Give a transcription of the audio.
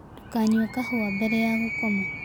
Ndũkanyũe kahũa mbere ya gũkoma